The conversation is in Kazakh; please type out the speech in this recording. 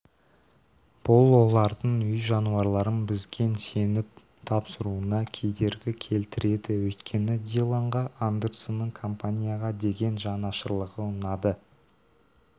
бұл олардың үй жануарларын бізген сеніп тапсыруына кедергі келтіреді өйткені диллонға андерсонның компанияға деген жанашырлығы ұнады